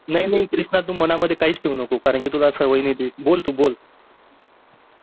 नाही नाही तू कृष्णा तू मनामध्ये काहीच ठेऊ नको कारण कि तुला सवय नाही बोल तू बोल